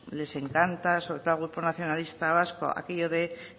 les encanta sobre todo al grupo nacionalista vasco aquello de